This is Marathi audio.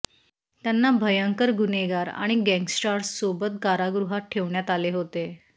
त्यांना भयंकर गुन्हेगार आणि गँगस्टार्ससोबत कारागृहात ठेवण्यात आले होते